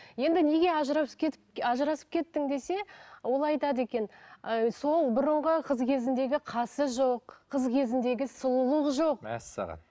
енді неге ажырасып кетіп ажырасып кеттің десе ол айтады екен ы сол бұрынғы қыз кезіндегі қасы жоқ қыз кезіндегі сұлулық жоқ мәссаған